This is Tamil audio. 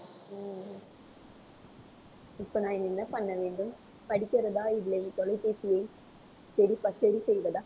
இப்ப நான் என்ன பண்ண வேண்டும்? படிக்கிறதா இல்லை தொலைபேசியை சரி ப~ சரி செய்வதா